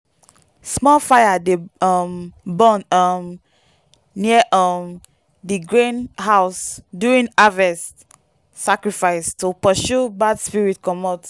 small fire dey um burn um near um di grain house during harvest sacrifice to pursue bad spirits comot.